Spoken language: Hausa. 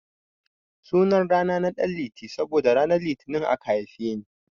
Sunan rana na Danliti saboda ranar litini aka haife ni.